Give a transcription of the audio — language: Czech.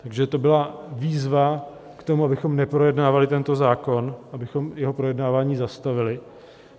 Takže to byla výzva k tomu, abychom neprojednávali tento zákon, abychom jeho projednávání zastavili.